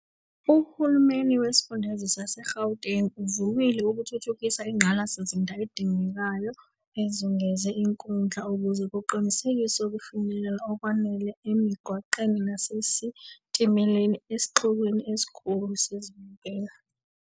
Uhulumeni Wesifundazwe saseGauteng uvumile ukuthuthukisa Ingqalasizinda edingekayo ezungeze inkundla, ukuze kuqinisekiswe ukufinyelela okwanele emigwaqweni nasesitimeleni esixukwini esikhulu sezibukeli.